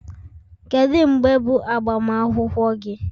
Kedu mgbe bụ agbamakwụkwọ gị?